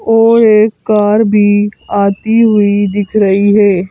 और एक कार भी आती हुई दिख रही है।